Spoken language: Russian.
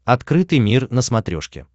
открытый мир на смотрешке